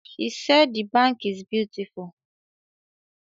She said the bank is beautiful